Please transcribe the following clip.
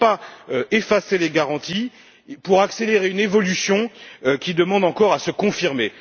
Il ne faut pas effacer les garanties pour accélérer une évolution qui demande encore à se confirmer.